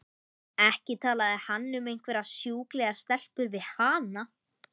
Ekki talaði hann um einhverjar sjúklegar stelpur við hana!